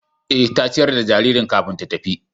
Eh, ta ciyar da jaririn kafin ta tafi